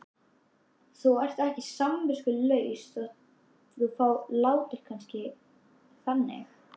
Þú ert ekki samviskulaus þótt þú látir kannski þannig.